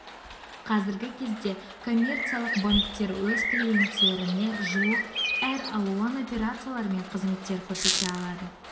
қазіргі кезде коммерциялық банктер өз клиенттеріне жуық әр алуан операциялар мен қызметтер көрсете алады